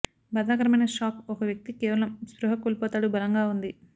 బాధాకరమైన షాక్ ఒక వ్యక్తి కేవలం స్పృహ కోల్పోతాడు బలంగా ఉంది